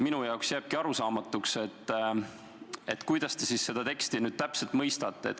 Mulle jääbki arusaamatuks, kuidas te siis seda teksti nüüd täpselt mõistate.